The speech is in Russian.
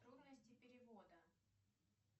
трудности перевода